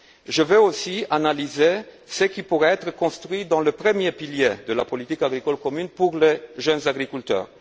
Je veux aussi analyser ce qui pourrait être construit dans le premier pilier de la politique agricole commune pour les jeunes agriculteurs.